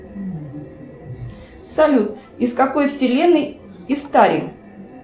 салют из какой вселенной истари